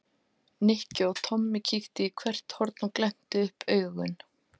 Nikki og Tommi kíktu í hvert horn og glenntu upp augun.